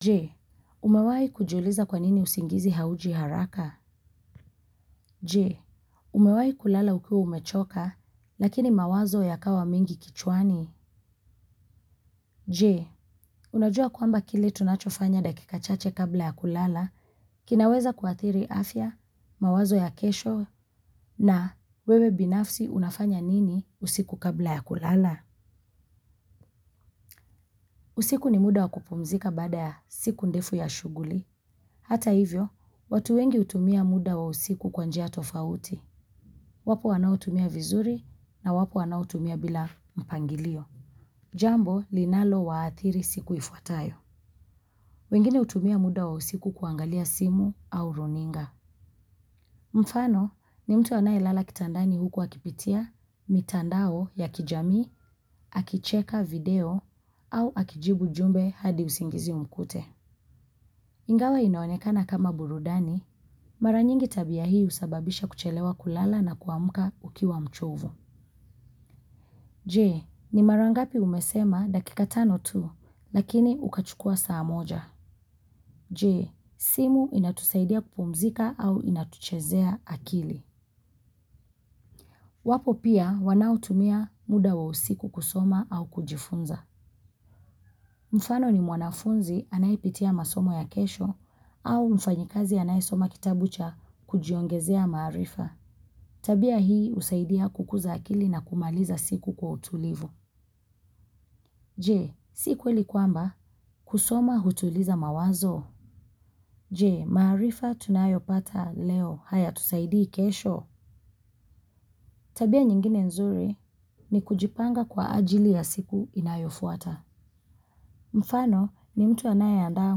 Je umawai kujuliza kwa nini usingizi hauji haraka? Je umawai kulala ukiwa umechoka, lakini mawazo yakawa mengi kichwani? Je unajua kwamba kile tunachofanya dakika chache kabla ya kulala kinaweza kuathiri afya, mawazo ya kesho. Na wewe binafsi unafanya nini usiku kabla ya kulala usiku ni muda wakupumzika baada ya siku ndefu ya shuguli. Hata hivyo, watu wengi hutumia muda wa usiku kwa njia tofauti. Wapo wanaotumia vizuri na wapo wanaotumia bila mpangilio. Jambo, linalowaathiri siku ifuatayo. Wengine hutumia muda wa usiku kuangalia simu au runinga. Mfano ni mtu anayelala kitandani huku akipitia, mitandao ya kijami, akicheka video au akijibu jumbe hadi usingizi imkute. Ingawa inaonekana kama burudani, mara nyingi tabia hii husababisha kuchelewa kulala na kuamuka ukiwa mchovu. Jee ni mara ngapi umesema dakika tano tu, lakini ukachukua saa moja. Je, simu inatusaidia kupumzika au inatuchezea akili. Wapo pia wanaotumia muda wa usiku kusoma au kujifunza. Mfano ni mwanafunzi anayepitia masomo ya kesho au mfanyi kazi anayesoma kitabu cha kujiongezea maarifa tabia hii husaidia kukuza akili na kumaliza siku kwa utulivu. Je, si kweli kwamba kusoma hutuliza mawazo. Je, maaarifa tunayopata leo hayatusaidii kesho. Tabia nyingine nzuri ni kujipanga kwa ajili ya siku inayofuata. Mfano ni mtu anayeandaa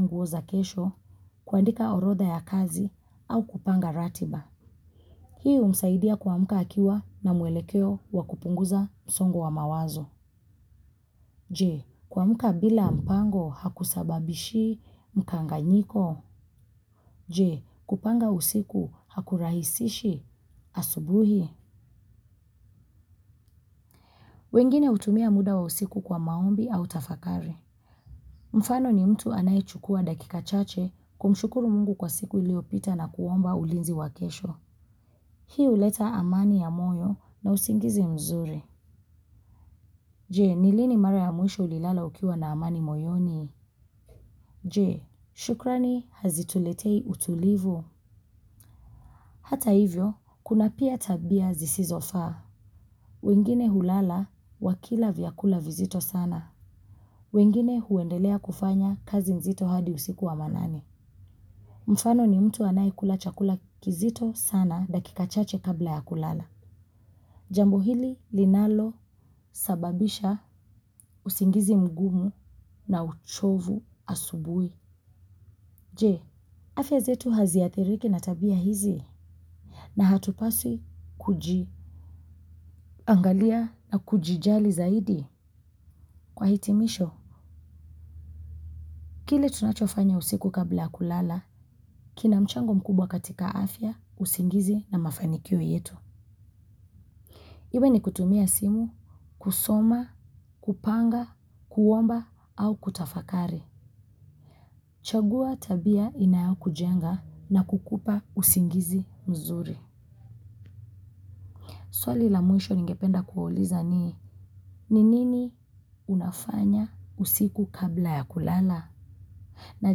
nguo za kesho, kuandika orodha ya kazi au kupanga ratiba. Hii humsaidia kuamka akiwa na mwelekeo wakupunguza msongo wa mawazo. Je, kuamka bila mpango hakusababishi mkanganyiko. Je, kupanga usiku hakurahisishi asubuhi. Wengine hutumia muda wa usiku kwa maombi au tafakari. Mfano ni mtu anayechukua dakika chache kumshukuru Mungu kwa siku iliopita na kuomba ulinzi wakesho. Hii huleta amani ya moyo na usingizi mzuri. Je, ni lini mara ya muisho ulilala ukiwa na amani moyoni. Je, shukrani hazituletei utulivu hata hivyo, kuna pia tabia zisizo faa. Wengine hulala wakila vyakula vizito sana wengine huendelea kufanya kazi nzito hadi usiku wa manane mfano ni mtu anayekula chakula kizito sana dakika chache kabla ya kulala. Jambo hili linalosababisha usingizi mgumu na uchovu asubui. Je, afya zetu haziathiriki na tabia hizi na hatupasi kujiangalia na kujijali zaidi kwa hitimisho. Kile tunachofanya usiku kabla kulala, kina mchango mkubwa katika afya, usingizi na mafanikio yetu. Iwe ni kutumia simu, kusoma, kupanga, kuomba au kutafakari. Chagua tabia inayaokujenga na kukupa usingizi mzuri. Swali la mwisho ningependa kuwauliza ni ni ni i unafanya usiku kabla ya kulala na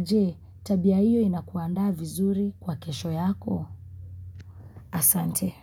je, tabia hiyo inakuandaa vizuri kwa kesho yako. Asante.